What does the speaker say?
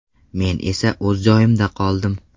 Men esa o‘z joyimda qoldim.